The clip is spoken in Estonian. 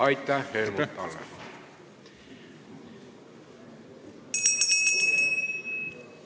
Aitäh, Helmut Hallemaa!